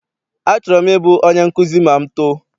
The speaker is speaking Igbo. Achọrọ m I bụ onye nkụzi ma m too.